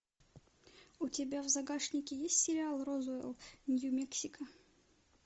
у тебя в загашнике есть сериал розуэлл нью мексико